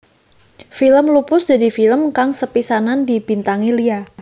Film Lupus dadi film kang sepisanan dibintangi Lia